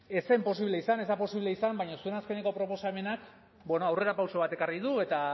ez zen posible izan ez da posible izan baina zuen azkeneko proposamenak aurrerapauso bat ekarri du eta